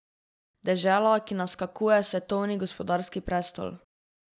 Dežela, ki naskakuje svetovni gospodarski prestol.